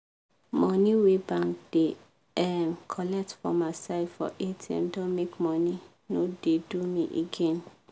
money wey bank da um colet for myside for atm don make money no da do me again